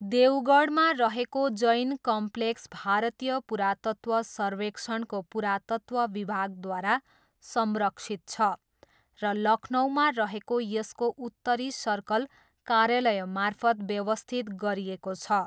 देवगढमा रहेको जैन कम्प्लेक्स भारतीय पुरातत्व सर्वेक्षणको पुरातत्व विभागद्वारा संरक्षित छ र लखनऊमा रहेको यसको उत्तरी सर्कल कार्यालयमार्फत व्यवस्थित गरिएको छ।